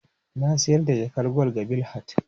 Na sayar da jakar gwal ga Bilhat.